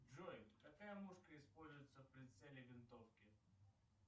джой какая мушка используется в прицеле винтовки